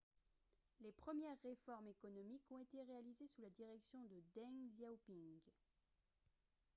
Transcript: les premières réformes économiques ont été réalisées sous la direction de deng xiaoping